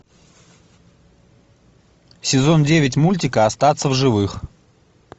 сезон девять мультика остаться в живых